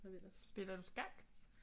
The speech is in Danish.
Spiller du skak